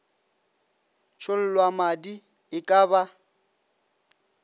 tšhollwa madi e ka ba